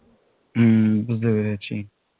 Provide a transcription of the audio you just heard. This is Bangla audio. হম বুঝতে পেরেছি